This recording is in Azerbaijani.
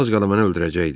Az qala məni öldürəcəkdi.